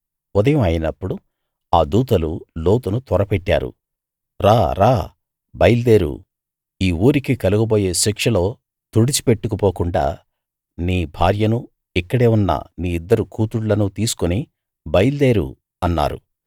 ఉదయం అయినప్పుడు ఆ దూతలు లోతును త్వరపెట్టారు రా రా బయల్దేరు ఈ ఊరికి కలుగబోయే శిక్షలో తుడిచి పెట్టుకుపోకుండా నీ భార్యనూ ఇక్కడే ఉన్న నీ ఇద్దరు కూతుళ్లనూ తీసుకుని బయల్దేరు అన్నారు